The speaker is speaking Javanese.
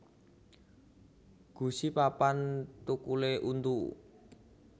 Gusi papan thukulé untu